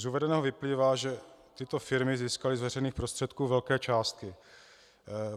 Z uvedeného vyplývá, že tyto firmy získaly z veřejných prostředků velké částky.